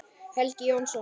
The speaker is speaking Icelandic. Helgi Jónsson